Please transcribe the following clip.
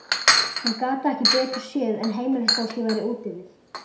Hann gat ekki betur séð en heimilisfólkið væri úti við.